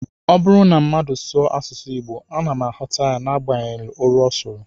Ọ bụrụ na mmadụ sụọ asụsụ Igbo, ana m aghọta n'agbanyeghị olu ọ sụrụ